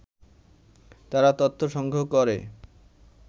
তারা তথ্য সংগ্রহ করে